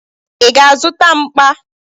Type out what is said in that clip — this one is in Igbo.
Ị ga-azụta mkpa?